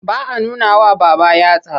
Ba a nunawa babba yatsa.